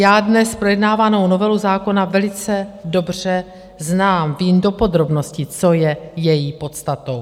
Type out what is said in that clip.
Já dnes projednávanou novelu zákona velice dobře znám, vím do podrobností, co je její podstatou.